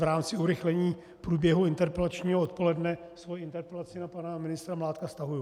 V rámci urychlení průběhu interpelačního odpoledne svoji interpelaci na pana ministra Mládka stahuji.